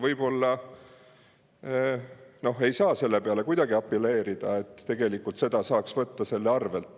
Võib-olla ei saa kuidagi sellele apelleerida, et saaks selle arvelt.